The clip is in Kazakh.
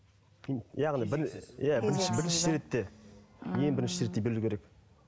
яғни иә бірінші бірінші ретте ең бірінші ретте берілу керек